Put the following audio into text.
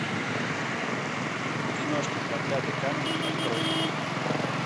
киношка проклятый камень открой